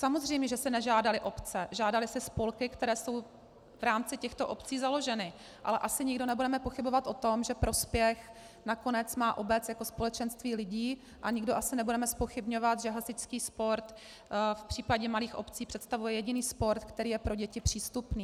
Samozřejmě že si nežádaly obce, žádaly si spolky, které jsou v rámci těchto obcí založeny, ale asi nikdo nebudeme pochybovat o tom, že prospěch nakonec má obec jako společenství lidí, a nikdo asi nebudeme zpochybňovat, že hasičský sport v případě malých obcí představuje jediný sport, který je pro děti přístupný.